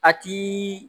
A ti